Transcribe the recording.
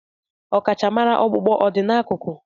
Ọkachamara ọkpụkpụ o dị n'akụkụ?